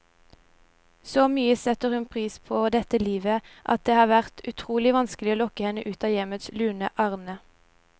Så mye setter hun pris på dette livet, at det har vært utrolig vanskelig å lokke henne ut av hjemmets lune arne.